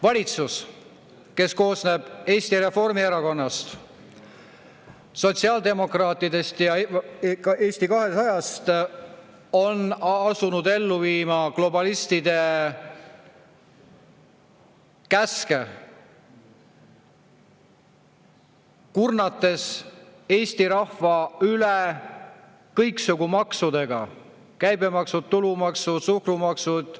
Valitsus, kes koosneb Eesti Reformierakonnast, sotsiaaldemokraatidest ja Eesti 200-st, on asunud ellu viima globalistide käske, kurnates Eesti rahva üle kõiksugu maksudega: käibemaksud, tulumaksud, suhkrumaksud.